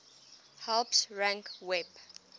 helps rank web